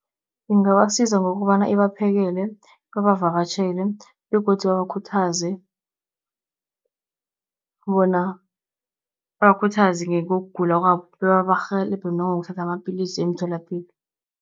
Ingabasiza ngokobana ibaphekele, babavakatjhele begodu babakhuthaze bona babakhuthaze ngekugula kwabo, bebabarhelebhe nangokuthatha amapilisi emtholapilo.